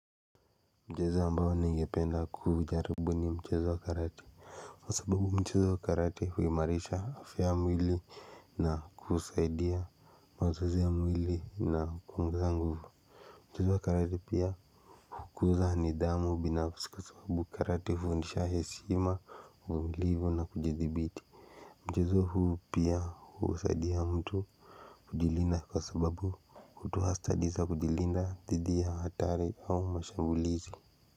Mchezo ambao ningependa kuujaribu ni mchezo wa karate. Kwa sababu mchezo wa karate huimarisha afya yamwili na kusaidia mazoezi ya mwili na kuongeza nguvu mchezo wa karate pia hukuza nidhamu binafsi kwa sababu karate hufundisha heshima umilivu na kujidhibiti mchezo huu pia husaidia mtu kujilinda kwa sababu hutoa stadi za kujilinda dhidi ya hatari au mashambulizi.